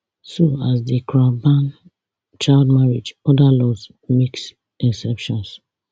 so as di cra ban child marriage other laws make exceptions